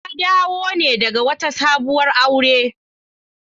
Na dawo ne daga wata sabuwar aure.